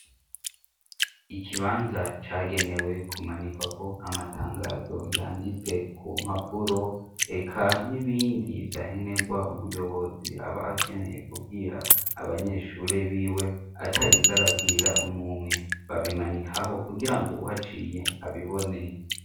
Ikibanza cagenewe kumanikwako amatangazo yanditse ku mpapuro, eka n'ibindi vyankenegwa umuyobozi aba akeneye kubwira abanyeshuri biwe atarinze arabwira umumwe, babimanikaho kugirango uwuhaciye abibone.